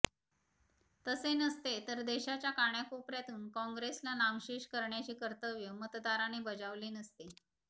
तसे नसते तर देशाच्या कानाकोपर्यातून काँग्रेसला नामशेष करण्याचे कर्तव्य मतदाराने बजावले नसते